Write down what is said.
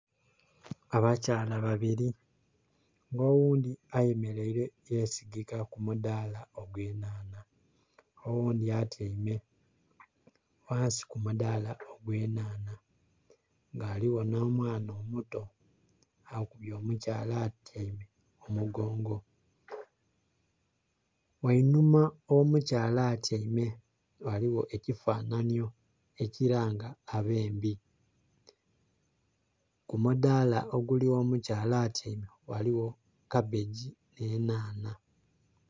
Abakyala babiri, nga oghundhi yesigike ku mudala ogw'enhanha. Oghundi atyaime ku ghansi ku mudala ogw'enhanha ghaligho no mwana omuto akubye omukyala atyaime omugongo. Ghainuma gh'omukyala atyaime ghaligho ekifananyo ekilanga abembe. Ku mudaala oguli ghomukazi atyaime, ghaligho kabegi n'enhanha.